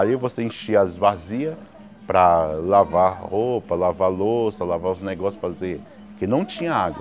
Aí você enchia as vazilhas para lavar roupa, lavar louça, lavar os negócios para fazer, porque não tinha água.